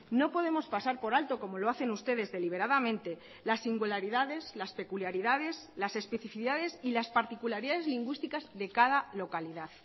no podemos pasar por alto como lo hacen ustedes deliberadamente las singularidades las peculiaridades las especificidades y las particularidades lingüísticas de cada localidad